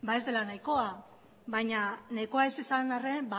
ez dela nahikoa baina nahikoa ez izan arren